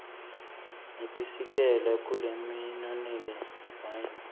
nitisikela kulelinonile mine